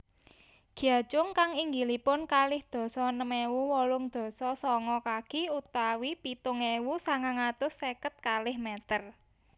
Gyachung kang inggilipun kalih dasa enem ewu wolung dasa sanga kaki utawi pitung ewu sangang atus seket kalih meter